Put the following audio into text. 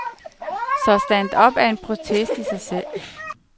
Så stand-up er en protest i sig selv.